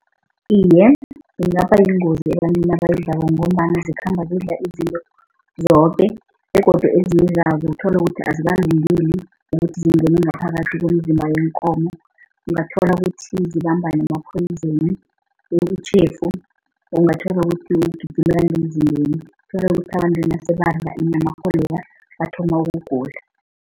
Iye, kungaba yingozi ebantwini abayidlako ngombana zikhamba zidla izinto zoke begodu ezikudlako utholukuthi azikakulungeli ukuthi zingene ngaphakathi komzimba weenkomo. Ungathola ukuthi zibamba nama-poison okuyitjhefu. Ungathola ukuthi ugijima nemzimbeni, tholukuthi abantu nasebadla inyamakho leya bathoma ukugula.